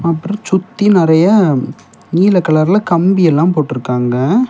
அப்புறொ சுத்தி நெறைய நீல கலர்ல கம்பி எல்லா போட்ருக்காங்க.